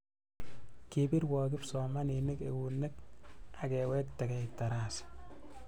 Kipirwo kipsomaninik eunek akewektekei tarasa